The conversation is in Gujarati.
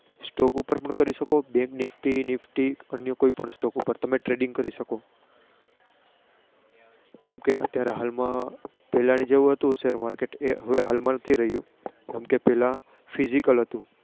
Stock ઉપર પણ કરી શકો. જેમ કે Bank Nifty અન્ય કોઈપ Stock તમે Trading કરી શકો. જેમ કે અત્યારે હાલ માં પેરાની જેમ હતું share market એ હવે હાલમાં નથી રહ્યું.